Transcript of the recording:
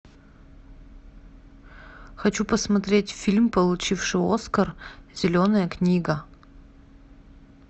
хочу посмотреть фильм получивший оскар зеленая книга